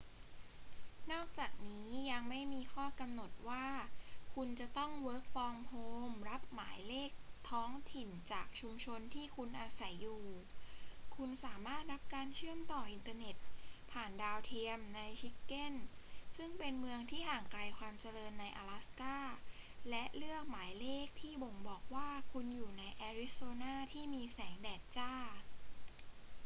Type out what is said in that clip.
นอกจากนี้ยังไม่มีข้อกำหนดว่าคุณจะต้องwfhรับหมายเลขท้องถิ่นจากชุมชนที่คุณอาศัยอยู่ คุณสามารถรับการเชื่อมต่ออินเทอร์เน็ตผ่านดาวเทียมในชิกเก้นซึ่งเป็นเมืองที่ห่างไกลความเจริญในอลาสก้า และเลือกหมายเลขที่บ่งบอกว่าคุณอยู่ในแอริโซนาที่มีแสงแดดจ้า